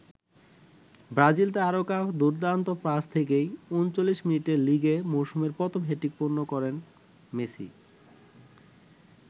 Brazil তারকার দুর্দান্ত pass থেকেই ৩৯ মিনিটে লিগে মৌসুমের প্রথম হ্যাটট্রিক পূর্ণ করেন মেসি।